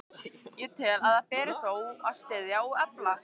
Ég tel, að það beri þó að styðja og efla,